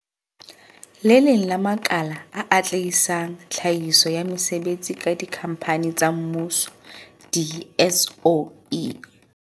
Le leng la makala a atlehisang tlhahiso ya mesebetsi ka dikhampani tsa mmuso di-SOE.